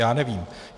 Já nevím.